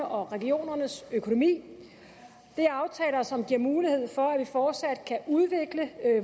og regionernes økonomi det er aftaler som giver mulighed for at vi fortsat kan udvikle